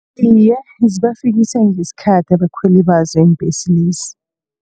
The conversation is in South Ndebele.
Iye, zibafikisa ngesikhathi abakhweli bazo iimbhesezi.